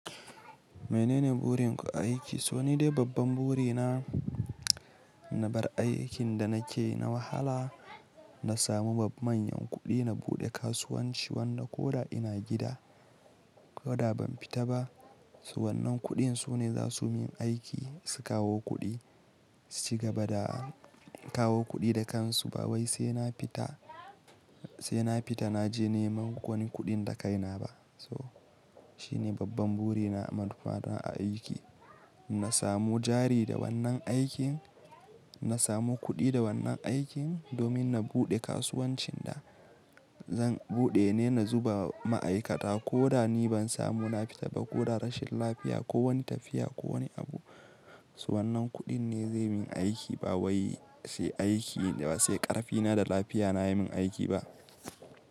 Menene burin ku a aiki? So ni dai babban buri na, na bar aikin da nake na wahala, na samu bab manyan kuɗi na buɗe kasuwanci wanda ko da ina gida, ko da ban fita ba, s wannan kuɗin su ne za su min aiki su kawo kuɗi, su ci gaba da, kawo kuɗi da kansu ba wai sai na fita, sai na fita naje neman wani kuɗin da kai na ba. So, shine babban buri na maduffa don a aiki. Na samu jari da wannan aikin, na samu kuɗi da wannan aikin domin na buɗe kasuwancin da zan buɗe ne na zuba ma'aikata ko da ni ban samu na fita ba ko da rashin lafiya ko wani tafiya ko wani abu. S wannan kuɗin ne zai min aiki ba wai sai aiki, sai ƙarfi na da lafiya na ya min aiki ba.